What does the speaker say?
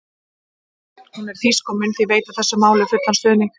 Hún er þýsk og mun því veita þessu máli fullan stuðning.